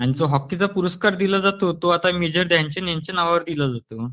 आणि जो हॉकीचा पुरस्कार दिला जातो तो आता मेजर ध्यानचंद ह्यांच्या नावावर दिला जातो